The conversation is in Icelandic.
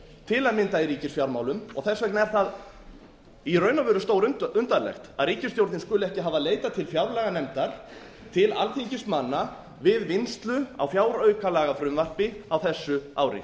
til að mynda í ríkisfjármálum og þess vegna er það í raun og veru stórundarlegt að ríkisstjórnin skuli ekki hafa leitað til fjárlaganefndar til alþingismanna við vinnslu á fjáraukalagafrumvarpi á þessu ári